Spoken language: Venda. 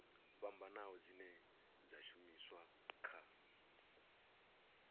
fhambanaho dzine dza shumiswa kha